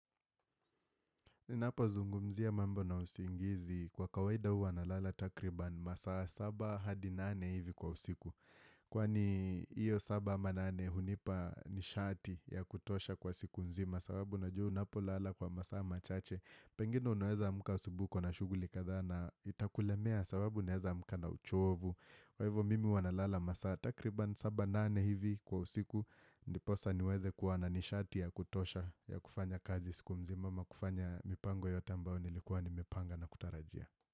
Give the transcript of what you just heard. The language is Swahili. Ninapozungumzia mambo na usingizi kwa kawaida huwa nalala takriban masaa 7 hadi 8 hivi kwa usiku. Kwani hiyo 7 ama 8 hunipa nishati ya kutosha kwa siku nzima sababu najua unapolala kwa masaa machache. Pengine unaweza amka asubuhi uko na shughuli kadhaa na itakulemea sababu unaweza amka na uchovu. Kwa hivyo mimi huwa nalala masaa takriban 7 nane hivi kwa usiku. Ndiposa niweze kuwa na nishati ya kutosha ya kufanya kazi siku mzima ama kufanya mipango yote ambayo nilikuwa nimepanga na kutarajia.